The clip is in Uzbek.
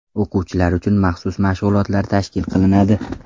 O‘quvchilar uchun maxsus mashg‘ulotlar tashkil qilinadi.